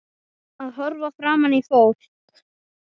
Að horfa framan í fólk.